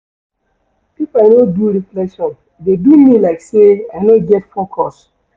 If I no do reflection, e dey do me like sey I no get focus.